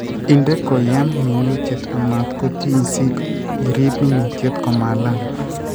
Inde koyiem minutiet amat kotiny si irib minituet komaalal